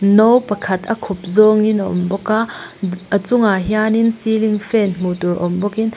no pakhat a khup zawngin a awm bawka a chungah hianin ceiling fan hmuh tur awm bawkin.